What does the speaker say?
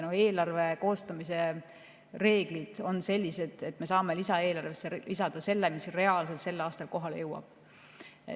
Eelarve koostamise reeglid on sellised, et me saame lisaeelarvesse lisada selle, mis reaalselt sel aastal kohale jõuab.